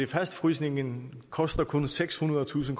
fastfrysningen koster kun sekshundredetusind